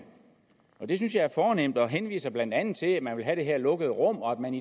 det synes jeg er fornemt og ordføreren henviser blandt andet til at man vil have det her lukkede rum og at man